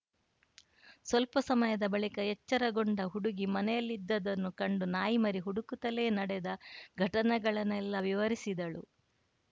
ಸ್ವಲ್ಪ ಸಮಯದ ಬಳಿಕ ಎಚ್ಚರಗೊಂಡ ಹುಡುಗಿ ಮನೆಯಲ್ಲಿದ್ದದ್ದನ್ನು ಕಂಡು ನಾಯಿಮರಿ ಹುಡುಕುತ್ತಲೇ ನಡೆದ ಘಟನೆಗಳನ್ನೆಲ್ಲಾ ವಿವರಿಸಿದಳು